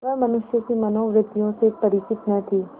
वह मनुष्य की मनोवृत्तियों से परिचित न थी